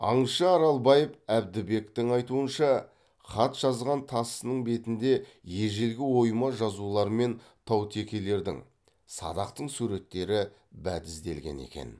аңшы аралбаев әбдібектің айтуынша хат жазған тасының бетінде ежелгі ойма жазулар мен таутекелердің садақтың суреттері бәдізделген екен